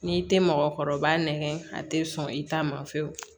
N'i tɛ mɔgɔkɔrɔba nɛgɛn a tɛ sɔn i ta ma fiyewu